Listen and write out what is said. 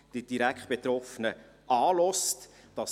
Die Direktbetroffenen werden angehört.